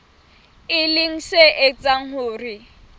e leng se etsang hore